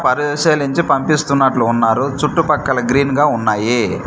పరిశీలించి పంపిస్తున్నట్లు ఉన్నారు చుట్టుపక్కల గ్రీన్ గా ఉన్నాయి.